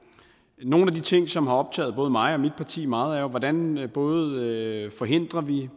nogle af de ting som har optaget både mig og mit parti meget er jo hvordan vi både forhindrer